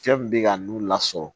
Fɛn min bɛ ka n'u lasɔrɔ